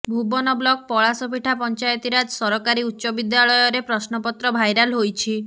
Bhuban block ପଳାଶପିଠା Panchayati Raj ସରକାରୀ ଉଚ୍ଚ ବିଦ୍ୟାଳୟରେ ପ୍ରଶ୍ନପତ୍ର ଭାଇରାଲ ହୋଇଛି